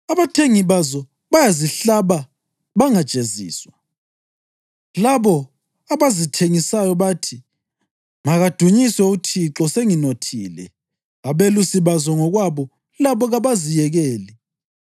Abathengi bazo bayazihlaba bangajeziswa. Labo abazithengisayo bathi, ‘Makadunyiswe uThixo, senginothile!’ Abelusi bazo ngokwabo labo kabaziyekeli.